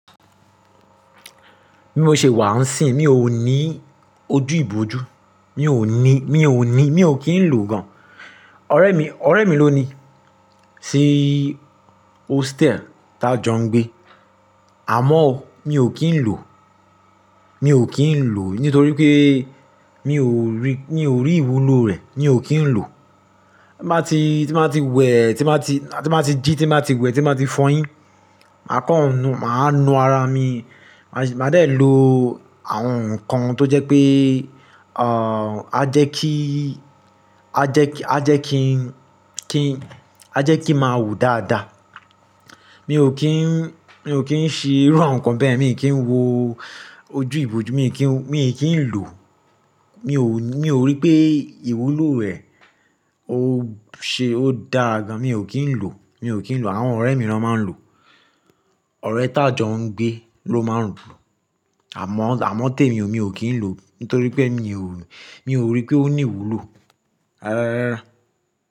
Bi mò ṣe wàa ń sìn, mi ò ní ojú ìbòjú, mi ò ní, mi ò ní, mi ò kí ń lò gan. Ọ̀rẹ́ mi, ọ̀rẹ́ mi ló ní sí hostel tá jọ ń gbé. Àmọ́ mi ò kí ń lò, mi ò kí ń lò nítorí pé mi ò rí, mi ò rí ìwúlò rẹ̀, mi ò kí ń lò. Ti n ba ti, tí n ba ti wẹ̀, tí n ba ti, tí n ba ti jí, tí má ti wẹ̀, tí má ti fọyín, màá kọ́nu, màá nu ara mi, màá de lo àwọn nǹkan tó jẹ́ pé, à, a jẹ́ kí, a jẹ́ kí, a jẹ́ kí ń, kí n, a jẹ́ kí máa wù dáadáa. Mi ò kí ń, mi ò kí ń ṣe irú àwọn nǹkan bẹ́ yen, mi ò kí ń wo ojú ìbòjú, mi ò kí ń, mi ò kí ń lò. Mi ò, mi ò rí pé ìwúlò rẹ̀ ó ṣe, ó dáa gan. Mi ò kí ń lò, mi ò kí ń lò. Àwọn ọ̀rẹ́ mìíràn máa ń lò. Ọ̀rẹ́ tá jọ ń gbé ló máa ń lò. Àmọ́, àmọ́ tèmi o, mi ò kí ń lò nítorí pé mi ò, mi ò rí pé ó ní ìwúlò, rárárárá,.